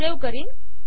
save करीन